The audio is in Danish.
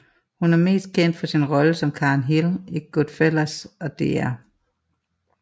Hun er mest kendt for sine roller som Karen Hill i Goodfellas og Dr